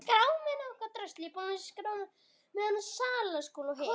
Alla ævi hafði hann þjáðst.